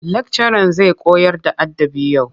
Lakcaran zai koyarda adabı yau.